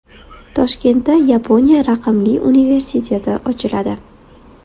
Toshkentda Yaponiya raqamli universiteti ochiladi.